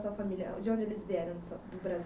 da sua De onde eles vieram? do Brasil?